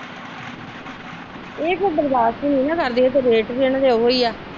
ਇਹ ਫਿਰ ਬਰਦਾਸ਼ਤਨਹੀਂ ਨਾ ਕਰਦਿਆਂ ਤੇ ਰੇਟ ਵੀ ਇਹਨਾਂ ਦੇ ਓਹੋ ਹੀ ਆ।